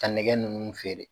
Ka nɛgɛ ninnu feere